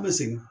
An bɛ segin